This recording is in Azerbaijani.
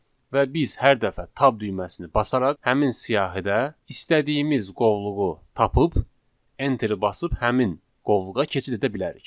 Və biz hər dəfə tab düyməsini basaraq həmin siyahidə istədiyimiz qovluğu tapıb enteri basıb həmin qovluğa keçid edə bilərik.